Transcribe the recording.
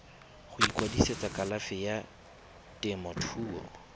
go ikwadisetsa kalafi ya temothuo